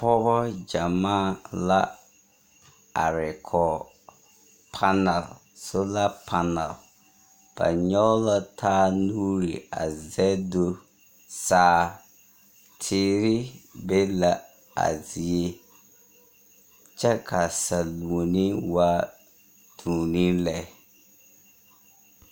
Pɔɔbɔ gyamaa la are kɔge panal sola panal. Ba nyɔge la taa nuuri a zɛge do saa. Teere be la a zie. Kyɛ ka saluoni waa duoni lɛ.